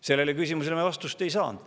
Sellele küsimusele me vastust ei saanud.